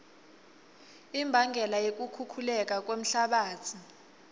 imbangela yekukhukhuleka kwemhlabatsi